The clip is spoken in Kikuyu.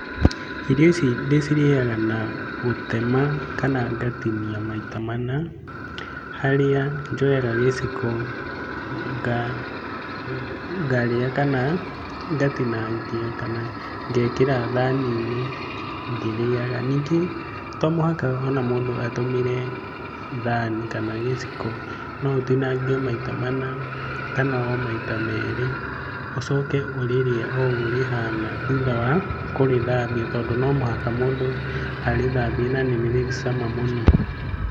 Irio ici ndĩcirĩaga na gũtema kana ngatinia maita mana, harĩa njoyaga gĩciko ngarĩa kana ngatinangia kana ngekĩra thani-inĩ ngĩrĩaga. Ningĩ to mũhaka ona mũndũ atũmĩre thani kana gĩciko, no ũtinangie maita mana kana o maita merĩ, ũcoke ũrĩrĩe o ũguo rĩhana thutha wa kũrĩthambia tondũ no mũhaka mũndũ arĩthambie na nĩrĩrĩ cama mũno.